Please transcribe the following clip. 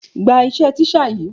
Gba iṣẹ́ teacher yìí.